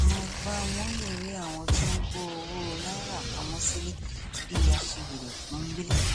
mike bamoye rí àwọn tí ó ń kó owó náírà pamọ sílẹ bíi aṣiwèrè pọńbélé